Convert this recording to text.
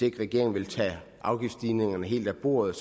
ikke regeringen vil tage afgiftsstigningerne helt af bordet